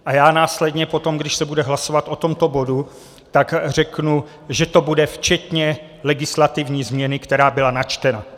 A já následně potom, když se bude hlasovat o tomto bodu, tak řeknu, že to bude včetně legislativní změny, která byla načtena.